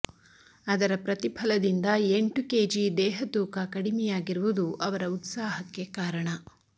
ಅದರ ಪ್ರತಿಫಲದಿಂದ ಎಂಟು ಕೆಜಿ ದೇಹ ತೂಕ ಕಡಿಮೆಯಾಗಿರುವುದು ಅವರ ಉತ್ಸಾಹಕ್ಕೆ ಕಾರಣ